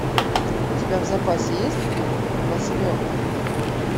у тебя в запасе есть фильм восьмерка